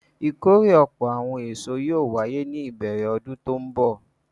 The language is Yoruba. Ìkórè ọ̀pọ̀ àwọn èso yóò wáyé ní ìbẹ̀rẹ̀ ọdún tó ń bọ̀.